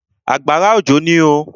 Àgbàrá òjò ní oo.